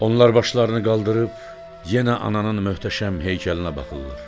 Onlar başlarını qaldırıb, yenə ananın möhtəşəm heykəlinə baxırlar.